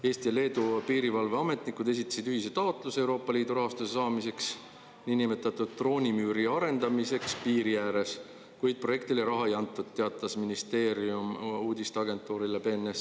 Eesti ja Leedu piirivalveametnikud esitasid ühise taotluse Euroopa Liidu rahastuse saamiseks niinimetatud droonimüüri arendamiseks piiri ääres, kuid projektile raha ei antud, teatas ministeerium uudisteagentuurile BNS.